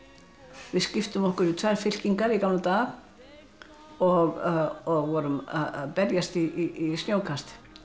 við skiptum okkur í tvær fylkingar í gamla daga og vorum að berjast í snjókasti